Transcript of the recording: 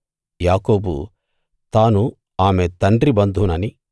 యాకోబు తాను ఆమె తండ్రి బంధువుననీ